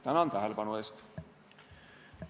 Tänan tähelepanu eest!